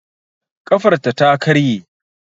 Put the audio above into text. Ƙafarta ta karye